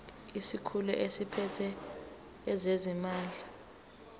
isikhulu esiphethe ezezimali